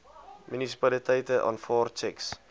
munisipaliteite aanvaar tjeks